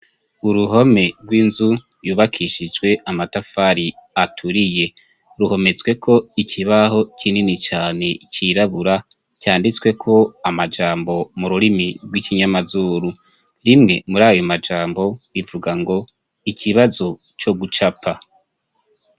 Uruhome rw'inzu yubakishijwe amatafari aturiye, ruhometsweko ikibaho kinini cane cirabura canditseko amajambo mururimi rw'ikinyamazuru, rimwe muri ayo majambo rivuga ngo: ikibazo co gucapa.